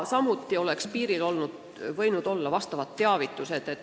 Samuti oleks piiril võinud olla vastavad teavitused.